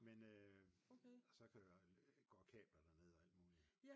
Men øh så kan øh går kabler derned og alt muligt